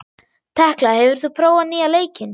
Tekla, hefur þú prófað nýja leikinn?